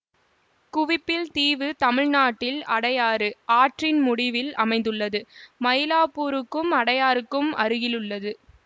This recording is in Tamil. குவிப்பில் தீவு தமிழ்நாட்டில் அடையாறு ஆற்றின் முடிவில் அமைந்துள்ளது மயிலாப்பூருக்கும் அடையாறுக்கும் அருகிலுள்ளது